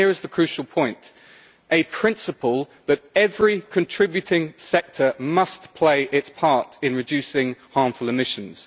and here is the vital point a principle that every contributing sector must play its part in reducing harmful emissions.